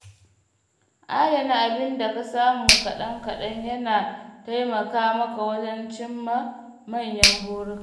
Adana abin da ka samu kaɗan-kaɗan yana taimaka maka wajen cimma manyan buruka.